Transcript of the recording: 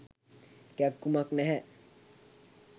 කැක්කුමක් නැහැ.